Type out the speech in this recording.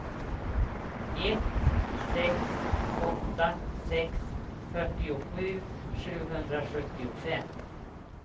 ett sex åtta sex fyrtiosju sjuhundrasjuttiofem